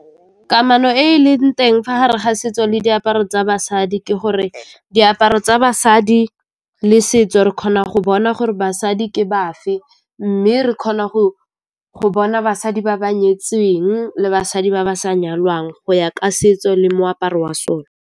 Kamano e e leng teng fa gare ga setso le diaparo tsa basadi ke gore diaparo tsa basadi le setso re kgona go bona gore basadi ke bafe, mme re kgona go bona basadi ba ba nyetsweng le basadi ba ba sa nyalwang go ya ka setso le moaparo wa sone.